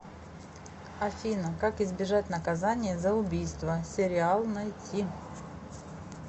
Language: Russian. афина как избежать наказания за убийство сериал найти